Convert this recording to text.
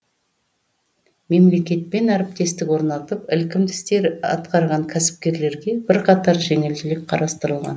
мемлекетпен әріптестік орнатып ілкімді істер атқарған кәсіпкерлерге бірқатар жеңілдік қарастырылған